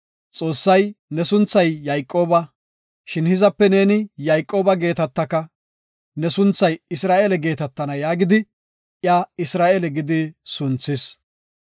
Xoossay, “Ne sunthay Yayqooba. Shin hizape neeni Yayqooba geetetaka, ne sunthay Isra7eele geetetana” yaagidi iya “Isra7eele” gidi sunthis.